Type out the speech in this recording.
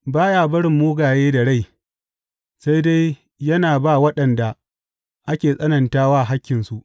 Ba ya barin mugaye da rai sai dai yana ba waɗanda ake tsanantawa hakkinsu.